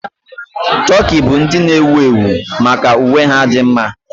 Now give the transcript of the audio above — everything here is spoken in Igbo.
Tokii bụ ndị ewu ewu maka uwe ha dị mma.